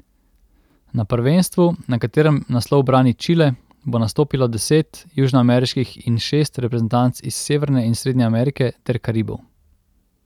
Na prvenstvu, na katerem naslov brani Čile, bo nastopilo deset južnoameriških in šest reprezentanc iz Severne in Srednje Amerike ter Karibov.